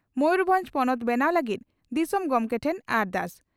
ᱢᱚᱭᱩᱨᱵᱷᱚᱸᱡᱽ ᱯᱚᱱᱚᱛ ᱵᱮᱱᱟᱣ ᱞᱟᱹᱜᱤᱫ ᱫᱤᱥᱚᱢ ᱜᱚᱢᱠᱮ ᱴᱷᱮᱱ ᱟᱨᱫᱟᱥ